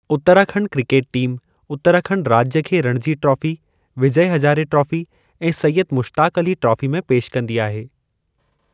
Uttarakhand cricket team Uttarakhand राज्य खे Ranji trophy, Vijay Hazare trophy ऐं सैयद मुश्ताक अली ट्रॉफी में पेश कंदी आहे।